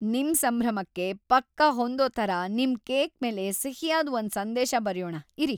ನಿಮ್ ಸಂಭ್ರಮಕ್ಕೆ ಪಕ್ಕಾ ಹೊಂದೋ ಥರ ನಿಮ್ ಕೇಕ್ ಮೇಲೆ ಸಿಹಿಯಾದ್‌ ಒಂದ್ ಸಂದೇಶ ಬರ್ಯೋಣ ಇರಿ.